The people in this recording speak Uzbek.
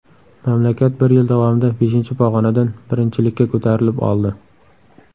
Mamlakat bir yil davomida beshinchi pog‘onadan birinchilikka ko‘tarilib oldi.